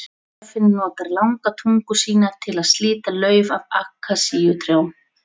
Gíraffinn notar langa tungu sína til að slíta lauf af akasíutrjám.